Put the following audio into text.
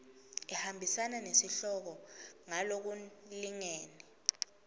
ihambisana nesihloko ngalokulingene